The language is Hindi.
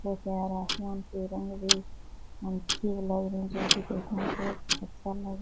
आसमान के रंग भी अच्छे लग रहे हैं जो कि देखने से अच्छा लग --